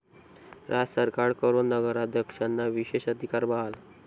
राज्य सरकारकडून नगराध्यक्षांना विशेष अधिकार बहाल!